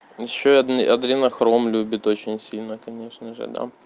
ещё адренохром любит очень сильно конечно же да